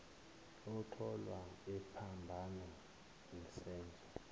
otholwa ephambana nesenzo